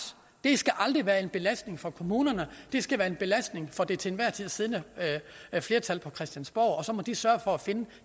aldrig skal være en belastning for kommunerne det skal være en belastning for det til enhver tid siddende flertal på christiansborg og så må de sørge for at finde